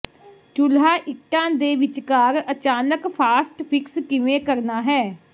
ਚੁੱਲ੍ਹਾ ਇੱਟਾਂ ਦੇ ਵਿਚਕਾਰ ਅਚਾਨਕ ਫਾਸਟ ਫਿਕਸ ਕਿਵੇਂ ਕਰਨਾ ਹੈ